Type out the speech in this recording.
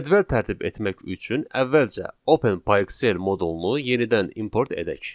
Cədvəl tərtib etmək üçün əvvəlcə openpyxl modulunu yenidən import edək.